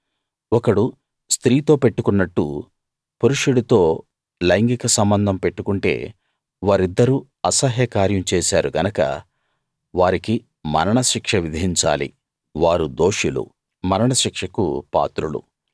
ఒకడు స్త్రీతో పెట్టుకున్నట్టు పురుషుడితో లైంగిక సంబంధం పెట్టుకుంటే వారిద్దరూ అసహ్య కార్యం చేశారు గనక వారికి మరణశిక్ష విధించాలి వారు దోషులు మరణ శిక్షకు పాత్రులు